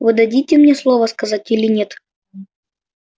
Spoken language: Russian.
вы дадите мне слово сказать или нет